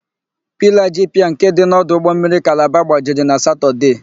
Pilaa ji piia nke dị n' ọdụ ụgbọmmiri Kalaba gbajiri na Satọdee.